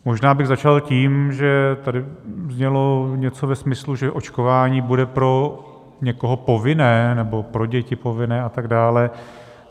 Možná bych začal tím, že tady znělo něco ve smyslu, že očkování bude pro někoho povinné, nebo pro děti povinné a tak dále.